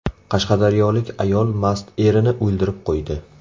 Qashqadaryolik ayol mast erini o‘ldirib qo‘ydi.